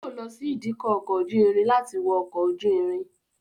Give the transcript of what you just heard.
Yóò lọ sí ìdíkọ̀ ọkọ̀ ojú irin láti wọ ọkọ̀ ojú irin.